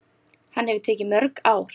Hann hefur tekið mörg ár.